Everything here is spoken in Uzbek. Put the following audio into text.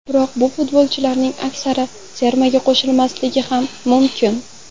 Biroq bu futbolchilarning aksari termaga chaqirilmasligi ham mumkin.